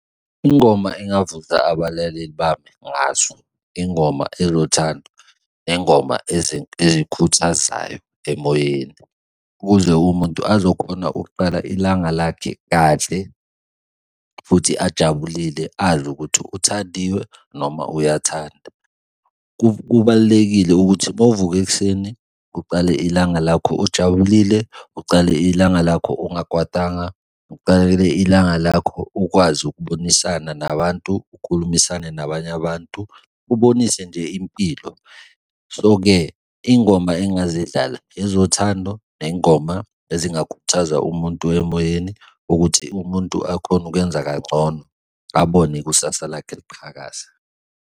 Ingoma engavusa abalaleli bami ngazo ingoma ezothando nengoma ezikhuthazayo emoyeni, ukuze umuntu azokhona ukuqala ilanga lakhe kahle futhi ajabulile azi ukuthi uthandiwe noma uyathanda. Kubalulekile ukuthi uma uvuka ekuseni kuqale ilanga lakho ojabulile, ucale ilanga lakho ongakwatanga, ucale ilanga lakho ukwazi ukubonisana nabantu, ukhulumisane nabanye abantu, ubonise nje impilo. So-ke iy'ngoma engazidlala ezothandwa, ney'ngoma ezingakhuthaza umuntu emoyeni ukuthi umuntu akhone ukwenza kangcono, abone ikusasa lakhe liqhakaza.